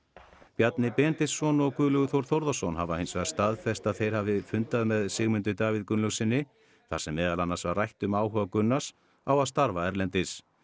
Bjarni Benediktsson og Guðlaugur Þór Þórðarson hafa hins vegar staðfest að þeir hafi fundað með Sigmundi Davíð Gunnlaugssyni þar sem meðal annars var rætt um áhuga Gunnars á að starfa erlendis